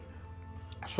svo